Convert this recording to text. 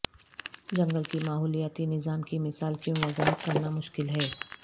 جنگل کی ماحولیاتی نظام کی مثال کیوں وضاحت کرنا مشکل ہے